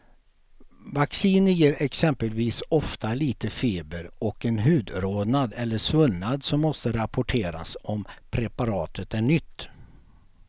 Vacciner ger exempelvis ofta lite feber och en hudrodnad eller svullnad som måste rapporteras om preparatet är nytt.